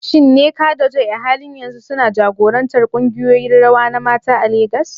Shin Nneka da Joy a halin yanzu suna jagorantar kungiyoyin rawa na mata a Legas?